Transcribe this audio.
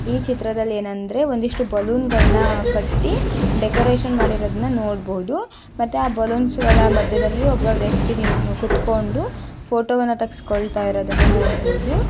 ಈ ಚಿತ್ರದಲ್ಲಿ ಏನಂದ್ರೆ ಒಂದಿಷ್ಟು ಬಲೂನ್ ಗಳನ್ನ ಕಟ್ಟಿ ಡೆಕೋರೇಷನ್ ಮಾಡಿರುವುದನ್ನು ನೋಡಬಹುದು ಮತ್ತೆ ಆ ಬಲೂನ್ಸ್ ಗಳ ಮಧ್ಯದಲ್ಲಿ ಒಬ್ಬ ವ್ಯಕ್ತಿ ನಿತ್ ಕೂತ್ಕೊಂಡು ಫೋಟೋ ವನ್ನು ತೆಗೆಸಿಕೊಳ್ತಾ ಇರುವುದನ್ನು ನೋಡಬಹುದು.